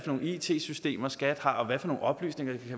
nogle it systemer skat har og hvilke nogle oplysninger vi